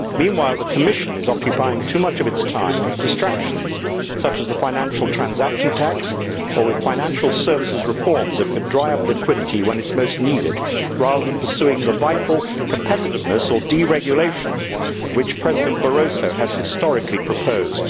Meanwhile the Commission is occupying too much of its time with distractions such as the financial transaction tax or with financial services reforms that could dry up liquidity when it is most needed rather than pursuing the vital competitiveness or deregulation which President Barroso has historically proposed.